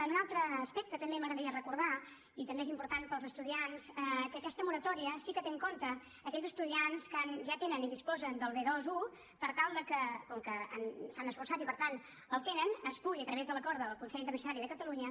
en un altre aspecte també m’agradaria recordar i també és important per als estudiants que aquesta moratòria sí que té en compte aquells estudiants que ja tenen i disposen del b21 perquè com que s’han esforçat i per tant el tenen es pugui a través de l’acord del consell interuniversitari de catalunya